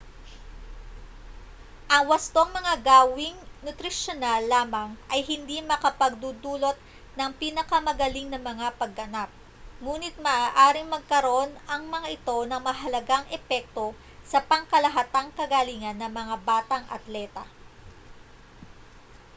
ang wastong mga gawing nutrisyonal lamang ay hindi makapagdudulot ng pinakamagaling na mga pagganap nguni't maaaring magkaroon ang mga ito ng mahalagang epekto sa pangkalahatang kagalingan ng mga batang atleta